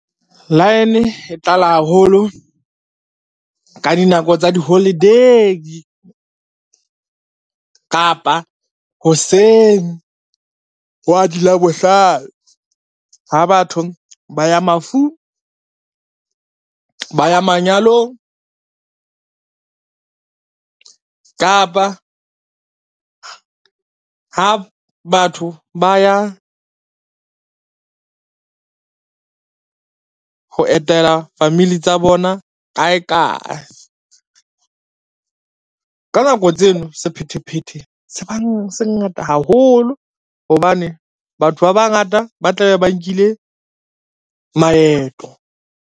Line e tlala haholo ka dinako tsa di-holiday, kapa hoseng hwa di Labohlano ha batho ba ya mafung, ba ya manyalong kapa ha batho ba ya ho etela family tsa bona kae kae. Ka nako tseno sephethephethe se bang se ngata haholo, hobane batho ba bangata ba tla be ba nkile maeto.